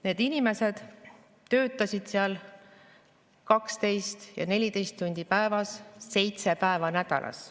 Need inimesed töötasid seal 12 ja 14 tundi päevas, seitse päeva nädalas.